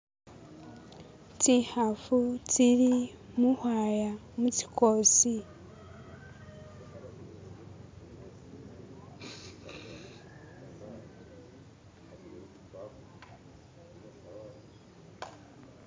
Tsikhafu tsili mukhwaya mutsikosi